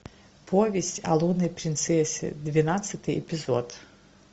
повесть о лунной принцессе двенадцатый эпизод